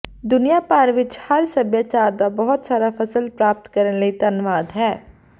ਦੁਨੀਆ ਭਰ ਵਿਚ ਹਰ ਸਭਿਆਚਾਰ ਦਾ ਬਹੁਤ ਸਾਰਾ ਫ਼ਸਲ ਪ੍ਰਾਪਤ ਕਰਨ ਲਈ ਧੰਨਵਾਦ ਹੈ